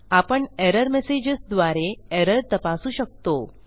आपण error messages द्वारे error तपासू शकतो